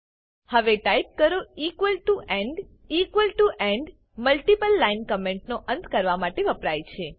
હવે ટાઈપ કરો equal to end equal to end multiple line comment નો અંત કરવા માટે વપરાય છે